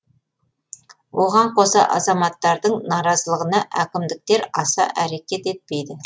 оған қоса азаматтардың наразылығына әкімдіктер аса әрекет етпейді